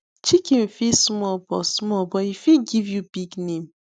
chicken fit small but small but e fit give you big name